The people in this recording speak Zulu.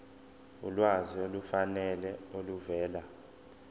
ulwazi olufanele oluvela